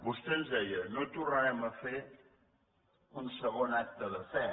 vostè ens deia no tornarem a fer un segon acte de fe